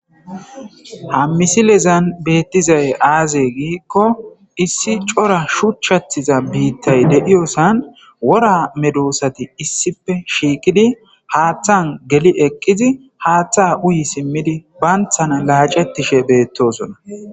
Ha misililezan beetizay aazee giiko issi cora shuchchatiza biitaay de7iyossan wora meedosaati issippe shiiqidi,haaththan geli eqidi, haaththa uyyi simmidi, banththana laacetishe beetoosona.